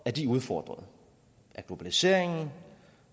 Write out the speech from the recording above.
at de er udfordret af globaliseringen